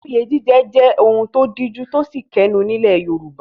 Oyè jíjẹ jẹ́ ohun tó díjú tósì kẹnú nílẹ̀ Yorùbá.